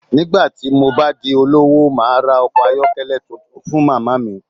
Nígbà tí mo bá di olówó, màá ra ọkọ̀ ayọ́kẹ́lẹ́ tuntun fún màmá mi